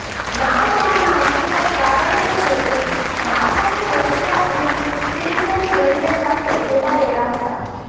નામ મૂળના હકીકત કારણે છે કે મારફતે રશિયા અને ફિનલેન્ડ રેલવે સાથે જોડાયેલા હતા